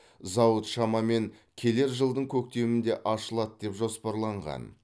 зауыт шамамен келер жылдың көктемінде ашылады деп жоспарланған